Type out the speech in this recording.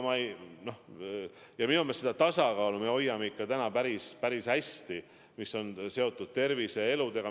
Minu meelest me seda tasakaalu, mis on seotud tervise ja eludega, hoiame praegu siiski päris hästi.